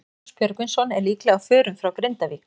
Magnús Björgvinsson er líklega á förum frá Grindavík.